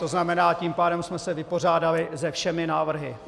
To znamená, tím pádem jsme se vypořádali se všemi návrhy.